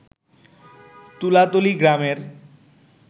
তুলাতলী গ্রামের